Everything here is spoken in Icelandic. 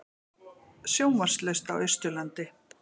Sjónvarpslaust á Austurlandi